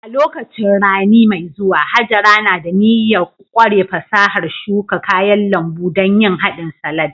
A lokacin rani mai zuwa, Hajara na da niyyar ƙware fasahar shuka kayan lambu don yin hadin salad